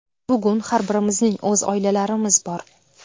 Bugun har birimizning o‘z oilalarimiz bor.